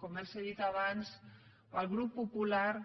com els he dit abans pel grup popular